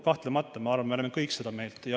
Kahtlemata, ma arvan, me oleme kõik seda meelt.